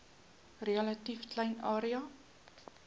relatief klein area